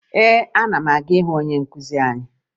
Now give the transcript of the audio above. Ee, ana m aga ịhụ onye nkụzi anyị